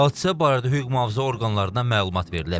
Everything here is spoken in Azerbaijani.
Hadisə barədə hüquq mühafizə orqanlarına məlumat verilib.